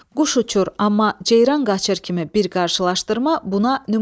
Quş uçur, amma ceyran qaçır kimi bir qarşılaşdırma buna nümunədir.